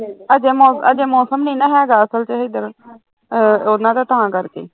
ਮੋਸਮ ਅਜੇ ਮੋਸਮ ਨੀ ਨਾ ਹੈਗਾ ਅਸਲ ਚ ਹੇਧਰ, ਆ ਉਹਨਾਂ ਦਾ ਤਾਂ ਕਰਕੇ